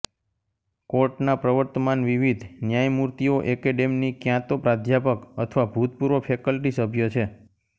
કોર્ટના પ્રવર્તમાન વિવિધ ન્યાયમૂર્તિઓ એકેડેમની ક્યાં તો પ્રાધ્યાપક અથવા ભૂતપૂર્વ ફેકલ્ટી સભ્ય છે